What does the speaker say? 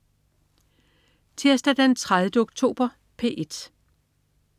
Tirsdag den 30. oktober - P1: